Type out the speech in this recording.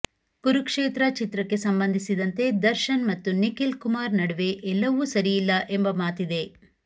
ಕುರುಕ್ಷೇತ್ರ ಚಿತ್ರಕ್ಕೆ ಸಂಬಂಧಿಸಿದಂತೆ ದರ್ಶನ್ ಮತ್ತು ನಿಖಿಲ್ ಕುಮಾರ್ ನಡುವೆ ಎಲ್ಲವು ಸರಿಯಿಲ್ಲ ಎಂಬ ಮಾತಿದೆ